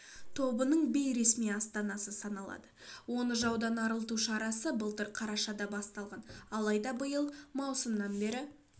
тобының бейресми астанасы саналады оны жаудан арылту шарасы былтыр қарашада басталған алайда биыл маусымнан бері